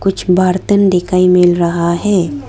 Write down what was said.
कुछ बर्तन दिखाई मिल रहा है।